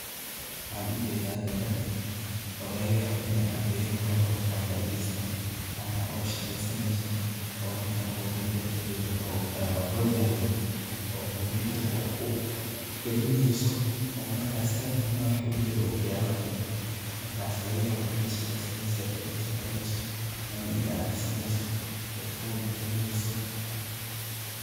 waxan ujeda gawar oo laga yaabo ina ardiyaad taho oo jamacatheste ama oo shaqesaneyso ,oo marka computer kujiro oo horyalo o computer ka waax galineso, marka headphone madax ugu jiro okiyaala qabto, markas laga yaabo inay shaqesaneyso shirkaad ka shaqeyneso ama ina aqrisaneso ee form buxineso.